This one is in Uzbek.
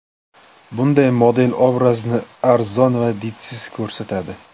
Bunday model obrazni arzon va didsiz ko‘rsatadi.